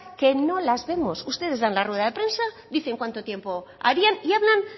que no las vemos ustedes dan la rueda de prensa dicen cuánto tiempo harían y hablan